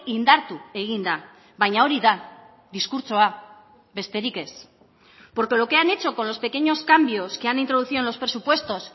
indartu egin da baina hori da diskurtsoa besterik ez porque lo que han hecho con los pequeños cambios que han introducido en los presupuestos